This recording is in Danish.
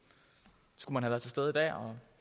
gør